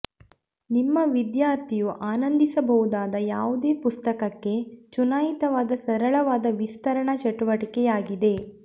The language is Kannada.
ನಿಮ್ಮ ವಿದ್ಯಾರ್ಥಿಯು ಆನಂದಿಸಬಹುದಾದ ಯಾವುದೇ ಪುಸ್ತಕಕ್ಕೆ ಚುನಾಯಿತವಾದ ಸರಳವಾದ ವಿಸ್ತರಣಾ ಚಟುವಟಿಕೆಯಾಗಿದೆ